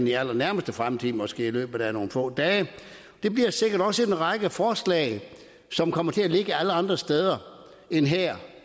i allernærmeste fremtid måske i løbet af nogle få dage bliver sikkert også en række forslag som kommer til at ligge alle andre steder end her